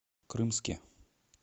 крымске